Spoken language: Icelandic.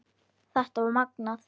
Þetta var magnað.